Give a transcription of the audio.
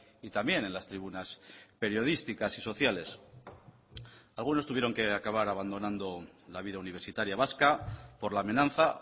y también en las tribunas periodísticas y sociales algunos tuvieron que acabar abandonando la vida universitaria vasca por la amenaza